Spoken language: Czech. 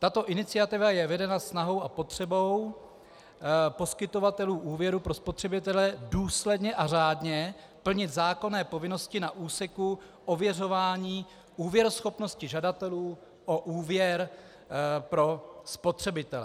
Tato iniciativa je vedena snahou a potřebou poskytovatelů úvěru pro spotřebitele důsledně a řádně plnit zákonné povinnosti na úseku ověřování úvěruschopnosti žadatelů o úvěr pro spotřebitele.